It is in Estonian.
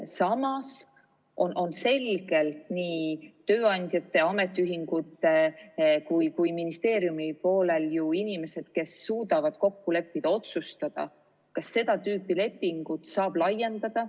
Samas on nii tööandjate, ametiühingute kui ministeeriumi poolel ju inimesed, kes suudavad kokku leppida ja otsustada, kas seda tüüpi lepingut saab laiendada.